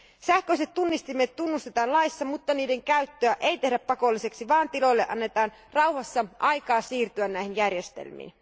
Sähköiset tunnistimet tunnustetaan laissa, mutta niiden käyttöä ei tehdä pakolliseksi, vaan tiloille annetaan rauhassa aikaa siirtyä näihin järjestelmiin.